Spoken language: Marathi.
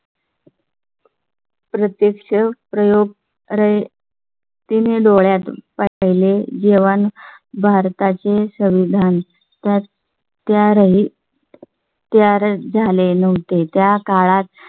प्रत्यक्ष प्रयोग. रयतीन ही डोळ्यात वाच लेले जवान भारता चे संविधान तर त्या राहील त्या झाले नव्हते. त्या काळात